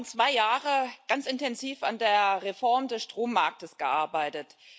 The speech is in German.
Wir haben zwei Jahre ganz intensiv an der Reform des Strommarktes gearbeitet.